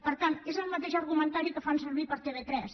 per tant és el mateix argumentari que fan servir per a tv3